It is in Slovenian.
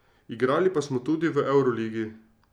Igrali pa smo tudi v evroligi.